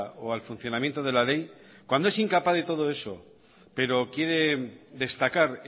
o al funcionamiento de la ley cuando es incapaz de todo eso pero quiere destacar